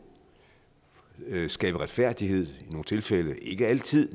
skabe retfærdighed i nogle tilfælde ikke altid